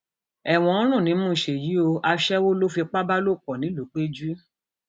ẹwọn ń rùn nímú ṣéyí o aṣẹwó ló fipá bá lò pọ ńìlúpẹjù